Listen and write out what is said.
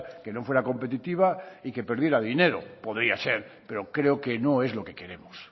que no fuera competitiva y que perdiera dinero podría ser pero creo que no es lo que queremos